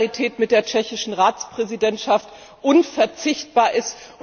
die Solidarität mit der tschechischen Ratspräsidentschaft unverzichtbar ist.